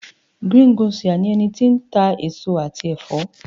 greengrocer ni eni ti n eso ati efo